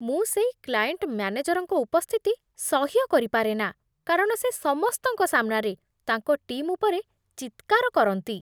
ମୁଁ ସେଇ କ୍ଲାଏଣ୍ଟ ମ୍ୟାନେଜରଙ୍କ ଉପସ୍ଥିତି ସହ୍ୟ କରିପାରେନା କାରଣ ସେ ସମସ୍ତଙ୍କ ସାମ୍ନାରେ ତାଙ୍କ ଟିମ୍ ଉପରେ ଚିତ୍କାର କରନ୍ତି।